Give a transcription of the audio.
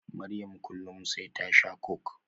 Maryam kullum sai ta shaa coke